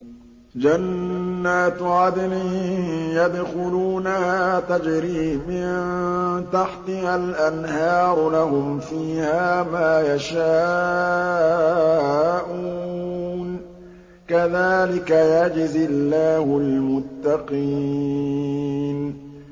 جَنَّاتُ عَدْنٍ يَدْخُلُونَهَا تَجْرِي مِن تَحْتِهَا الْأَنْهَارُ ۖ لَهُمْ فِيهَا مَا يَشَاءُونَ ۚ كَذَٰلِكَ يَجْزِي اللَّهُ الْمُتَّقِينَ